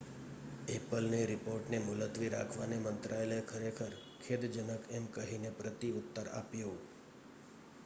"એપલની રીપોર્ટને મુલતવી રાખવાને મંત્રાલયે "ખરેખર ખેદજનક" એમ કહીને પ્રતિઉત્તર આપ્યો.